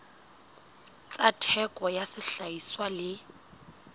tsa theko ya sehlahiswa le